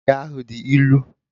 Kabeji ahụ dị ilu